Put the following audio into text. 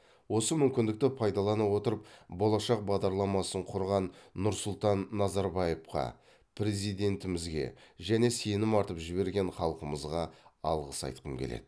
осы мүмкіндікті пайдалана отырып болашақ бағдарламасын құрған нұрсұлтан назарбаевқа президентімізге және сенім артып жіберген халқымызға алғыс айтқым келеді